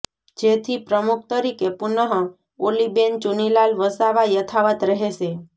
જેથી પ્રમુખ તરીકે પુનઃ ઓલીબેન ચુનીલાલ વસાવા યથાવત રહેશે